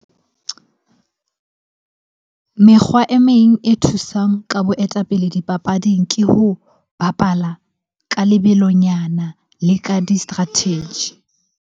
Mekgwa e meng e thusang ka boetapele dipapading ke ho bapala ka lebelonyana le ka di-strategy.